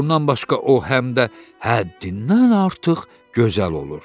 Bundan başqa o həm də həddindən artıq gözəl olur.